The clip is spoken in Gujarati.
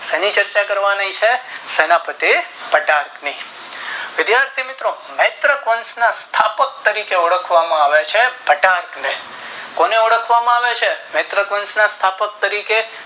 શેની ચર્ચા કરવાની છે શેના પતિ કટક ની વિધાથી મિત્રો નેત્ર વંશ ના સ્થાપક તરીકે ઓળખવામાં આવે છે ઘટાક ને કોને ઓળખવામાં આવે છે નેત્ર વંશ ના સ્થાપક તરીકે